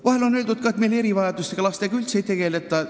Vahel on öeldud ka, et meil erivajadustega lastega üldse ei tegelda.